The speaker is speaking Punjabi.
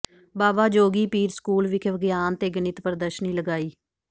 ਬਾਬਾ ਜੋਗੀਪੀਰ ਸਕੂਲ ਵਿਖੇ ਵਿਗਿਆਨ ਤੇ ਗਣਿਤ ਪ੍ਰਦਰਸ਼ਨੀ ਲਗਾਈ